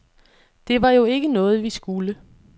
Det var jo ikke noget, vi skulle.